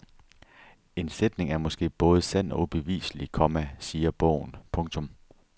En sætning er måske både sand og ubeviselig, komma siger bogen. punktum